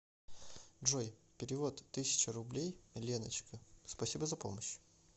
джой перевод тысяча рублей леночка спасибо за помощь